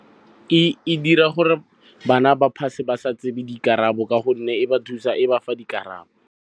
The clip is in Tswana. E dira gore bana ba pass-e ba sa tsebe dikarabo ka gonne e ba fa dikarabo.